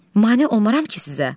Mane olmaram ki sizə?